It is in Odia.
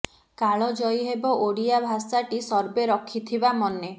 କାଳ ଜୟୀ ହେବ ଓଡିଆ ଭାଷା ଟି ସର୍ବେ ରଖିଥିବା ମନେ